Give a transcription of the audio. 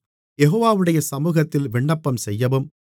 யெகோவாவுடைய சமுகத்தில் விண்ணப்பம்செய்யவும்